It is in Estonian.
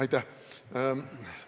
Aitäh!